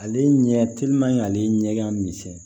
Ale ɲɛ telimani ale ɲɛ ka misɛn